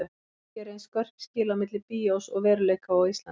Hvergi eru eins skörp skil á milli bíós og veruleika og á Íslandi.